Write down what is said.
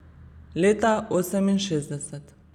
Leta oseminšestdeset.